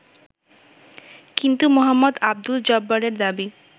কিন্তু মো: আবদুল জব্বারের দাবী